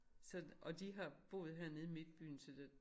Så og de har boet hernede i midtbyen til det